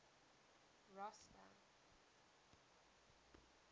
rosta